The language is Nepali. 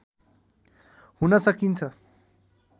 हुन सकिन्छ